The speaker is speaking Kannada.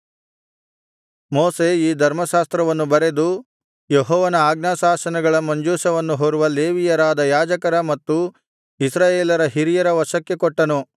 ಮೋಶೆ ಈ ಧರ್ಮಶಾಸ್ತ್ರವನ್ನು ಬರೆದು ಯೆಹೋವನ ಆಜ್ಞಾಶಾಸನಗಳ ಮಂಜೂಷವನ್ನು ಹೊರುವ ಲೇವಿಯರಾದ ಯಾಜಕರ ಮತ್ತು ಇಸ್ರಾಯೇಲರ ಹಿರಿಯರ ವಶಕ್ಕೆ ಕೊಟ್ಟನು